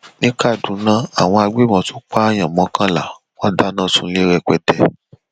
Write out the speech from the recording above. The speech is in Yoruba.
ní kaduna àwọn agbébọnrin tún pààyàn mọkànlá wọn dáná sunlé rẹpẹtẹ